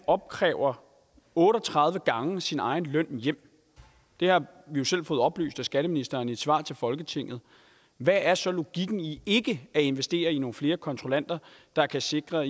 opkræver otte og tredive gange sin egen løn det har vi jo fået oplyst af skatteministeren i et svar til folketinget hvad er så logikken i ikke at investere i nogle flere kontrollanter der kan sikre